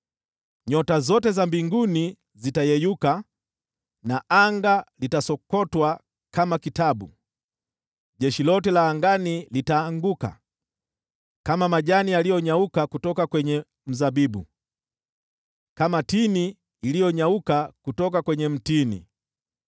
Nyota zote za mbinguni zitayeyuka na anga litasokotwa kama kitabu, jeshi lote la angani litaanguka kama majani yaliyonyauka kutoka kwenye mzabibu, kama tini iliyonyauka kutoka kwenye mtini.